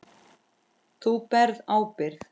Þú berð ábyrgð.